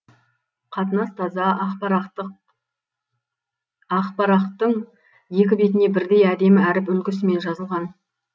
қатынас таза ақ парақтың екі бетіне бірдей әдемі әріп үлгісімен жазылған